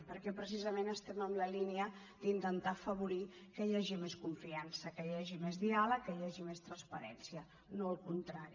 perquè precisament estem en la línia d’intentar afavorir que hi hagi més confiança que hi hagi més diàleg que hi hagi més transparència no al contrari